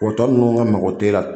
tɔ ninnu ka mago tɛ e la